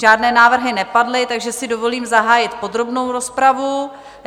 Žádné návrhy nepadly, takže si dovolím zahájit podrobnou rozpravu.